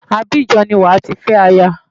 Abidjan ni wàá ti fẹ́ aya.